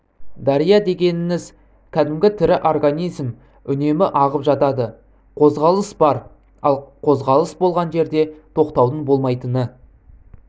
дария дегеніңіз кәдімгі тірі организм үнемі ағып жатады қозғалыс бар ал қозғалыс болған жерде тоқтаудың болмайтыны